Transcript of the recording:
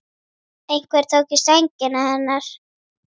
Einhver tók í sængina hennar.